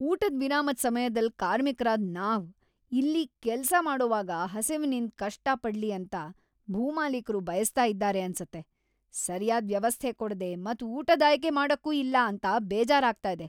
ಊಟದ್ ವಿರಾಮದ್ ಸಮ್ಯದಲ್ ಕಾರ್ಮಿಕ್ರಾದ ನಾವ್ ಇಲ್ಲಿ ಕೆಲ್ಸ ಮಾಡೋವಾಗ ಹಸಿವಿನಿಂದ್ ಕಷ್ಟ ಪಡ್ಲಿ ಅಂತ ಭೂಮಾಲೀಕರು ಬಯಸ್ತಾ ಇದ್ದಾರೆ ಅನ್ಸುತ್ತೆ. ಸರ್ಯಾದ್ ವ್ಯವಸ್ಥೆ ಕೊಡ್ದೆ ಮತ್ ಊಟದ್ ಆಯ್ಕೆ ಮಾಡಕ್ಕೂ ಇಲ್ಲ ಅಂತ ಬೇಜಾರ ಆಗ್ತಿದೆ.